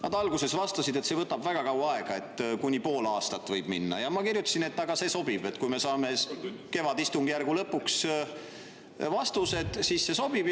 Nad alguses vastasid, et see võtab väga kaua aega, et kuni pool aastat võib minna, ja ma kirjutasin vastu, et kui me saame vastused kevadistungjärgu lõpuks, siis see sobib.